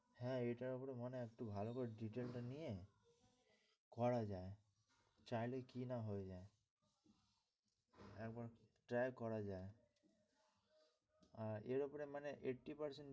হ্যাঁ এটার ওপরে মনে হয় একটু ভালো করে detail টা নিয়ে করা যায়। চাইলে কি না হয়ে যায় একবার try করা যায়, এর ওপরে মানে eighty percent.